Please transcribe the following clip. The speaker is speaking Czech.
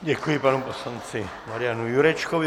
Děkuji panu poslanci Marianu Jurečkovi.